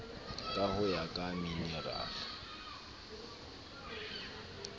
ka ho ya ka minerale